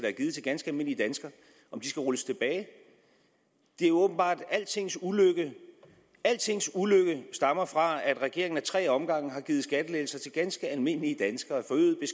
er givet til ganske almindelige danskere skal rulles tilbage de er åbenbart altings ulykke altings ulykke stammer fra at regeringen ad tre omgange har givet skattelettelser til ganske almindelige danskere